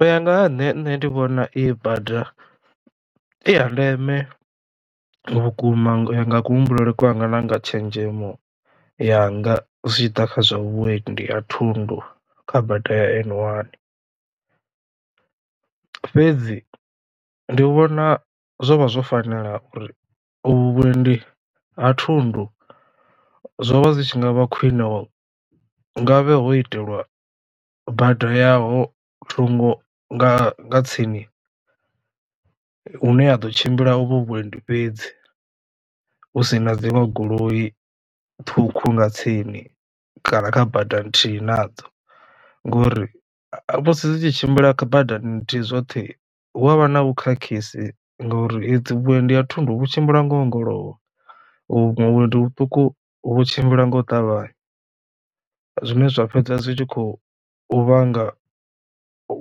U ya nga ha nṋe nṋe ndi vhona iyi bada i ya ndeme vhukuma u ya nga kuhumbulele kwanga na nga tshenzhemo yanga zwitshiḓa kha zwa vhuendi ha thundu kha bada ya N one. Fhedzi ndi vhona zwo vha zwo fanela uri u vhu vhuendi ha thundu zwo vha zwi tshi nga vha khwine nga vhe ho itelwa bada yaho thungo nga nga tsini hune ha ḓo tshimbila u vho vhuendi fhedzi hu si na dziṅwe goloi ṱhukhu nga tsini kana kha badani nthihi nadzo ngori musi dzi tshi tshimbila badani nthihi zwoṱhe hu avha na vhu khakhisi ngauri vhuendi ha thundu tshimbila ngo ongolowa vhuendi vhuṱuku vhu tshimbila nga u ṱavhanya. Zwine zwa fhedza zwi tshi khou vhanga